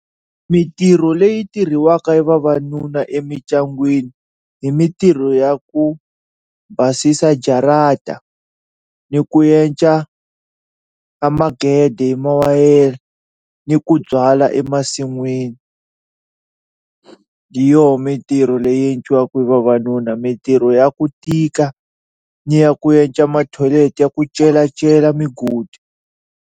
Mintirho leyi tirhiwaka ya vavanuna emindyangwini hi mintirho ya ku basisa jarata ni ku yenca a magede hi mawayere ni ku byala emasin'wini hi yoho mintirho leyi endliwaka hi vavanuna mintirho ya ku tika ni ya ku endla ma thoyilete ya ku celecela migodi.